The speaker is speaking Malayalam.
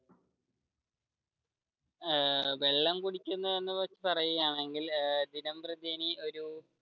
ഏർ വെള്ളം കുടിക്കുന്നു എന്ന് കുറിച്ച് പറയുകയാണെങ്കിൽ ദിനംപ്രതി ഒരു